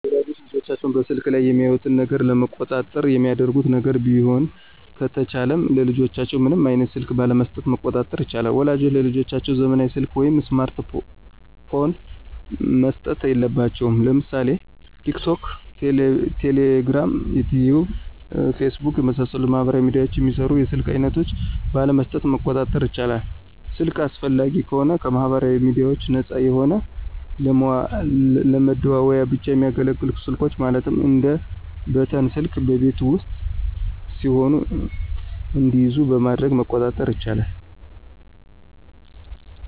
ወላጆች ልጆቻቸውን በስልኩ ላይ የሚያዩትን ነገር ለመቆጣጠር የሚያደርጉት ነገር ቢሆን ከተቻለም ለልጆቻቸው ምንም አይነት ስልክ ባለመሥጠት መቆጣጠር ይቻላል። ወላጆች ለልጆቻቸው ዘመናዊ ሰልክ ወይም ስማርት ፖን መስጠት የለባቸውም። ለምሳሌ ቲክቶክ፣ ቴሌግራም፣ ዩቲዩብ፣ ፌስቡክ የመሣሠሉትን ማህበራዊ ሚድያዎችን የሚሰሩ የስልክ አይነቶች ባለመስጠት መቆጣጠር ይቻላል። ስልክ አስፈላጊ ከሆነም ከማህበራዊ ሚድያዎች ነፃ የሆነ ለመደዋወያ ብቻ የሚያገለግሉ ስልኮች ማለትም እንደ በተን ስልክ በቤት ውስጥ ሲሆኑ እንዲይዙ በማድረግ መቆጣጠር ይቻላል።